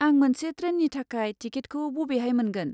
आं मोनसे ट्रेननि थाखाय टिकेटखौ बबेहाय मोनगोन?